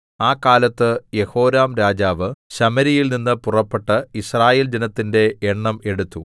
ആ കാലത്ത് യെഹോരാംരാജാവ് ശമര്യയിൽനിന്ന് പുറപ്പെട്ട് യിസ്രായേൽ ജനത്തിന്റെ എണ്ണം എടുത്തു